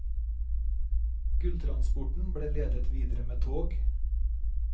Gulltransporten ble ledet videre med tog.